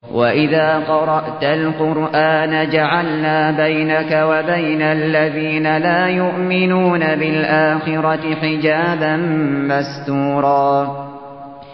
وَإِذَا قَرَأْتَ الْقُرْآنَ جَعَلْنَا بَيْنَكَ وَبَيْنَ الَّذِينَ لَا يُؤْمِنُونَ بِالْآخِرَةِ حِجَابًا مَّسْتُورًا